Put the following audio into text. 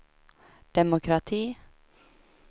demokrati